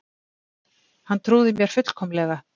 Hann trúði mér fullkomlega.